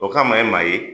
O kama ye maa ye